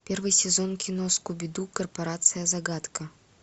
первый сезон кино скуби ду корпорация загадка